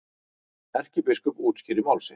Erkibiskup útskýrir mál sitt